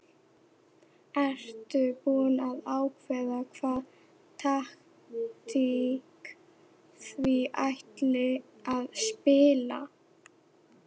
Ertu búinn að ákveða hvaða taktík þið ætlið að spila?